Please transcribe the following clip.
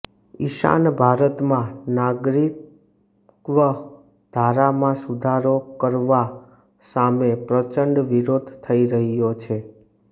ઈશાન ભારતમાં નાગરિકત્વ ધારામાં સુધારો કરવા સામે પ્રચંડ વિરોધ થઈ રહ્યો છે